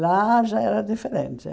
Lá já era diferente.